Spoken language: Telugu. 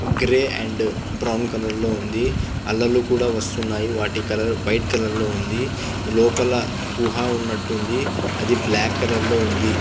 గ్రెయ్ అండ్ బ్రౌన్ కలర్ లో ఉంది అలలు కూడా వస్తున్నాయి వాటి కలర్ వైట్ కలర్ లో ఉంది. లోపల గుహ ఉన్నట్టు ఉంది అది బ్లాక్ కలర్ లో ఉంది.